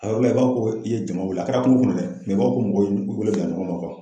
A yɔrɔ la i b'a fɔ ko i ye jama wuli a kɛra kungo kɔnɔ dɛ i b'a fɔ ko mɔgɔw y'u wele bila ɲɔgɔn ma